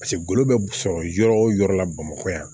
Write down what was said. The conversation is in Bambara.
Paseke ngolo bɛ sɔrɔ yɔrɔ o yɔrɔ la bamakɔ yan